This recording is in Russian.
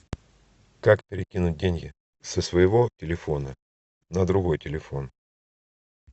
как перекинуть деньги со своего телефона на другой телефон